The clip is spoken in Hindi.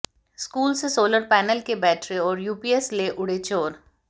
स्कूल से सौलर पैनल के बैटरे और यूपीएस ले उड़े चोर